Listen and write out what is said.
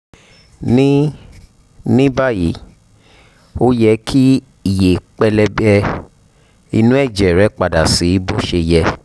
ní ní báyìí ó yẹ kí iye pẹlẹbẹ inú ẹ̀jẹ̀ rẹ padà sí bó ṣe yẹ